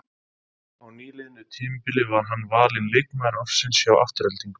Á nýliðnu tímabili var hann valinn leikmaður ársins hjá Aftureldingu.